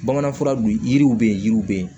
Bamanan fura dun yiriw bɛ yen yiriw bɛ yen